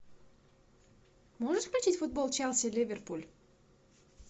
можешь включить футбол челси ливерпуль